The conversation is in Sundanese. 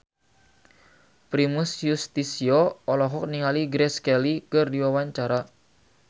Primus Yustisio olohok ningali Grace Kelly keur diwawancara